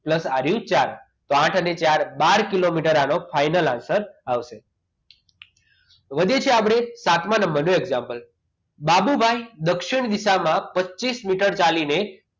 pluse ચાર તો આઠ અને ચાર એટલે બાર કિલોમીટર આનો final answer આવશે વધે છે આપણે સાતમા નંબરનો example બાબુભાઇ દક્ષિણ દિશામાં પચિસ મીટર ચાલીને